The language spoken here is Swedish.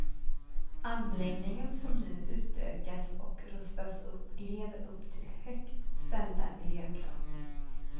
Anläggningen, som nu utökas och rustas upp, lever upp till högt ställda miljökrav.